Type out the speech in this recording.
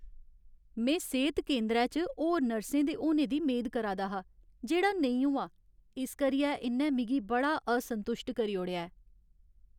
"में सेह्त केंदरै च होर नर्सें दे होने दी मेद करा दा हा जेह्ड़ा नेईं होआ, इस करियै इ'न्नै मिगी बड़ा असंतुश्ट करी ओड़ेआ ऐ।"